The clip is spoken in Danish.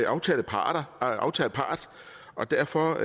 aftalepart aftalepart og derfor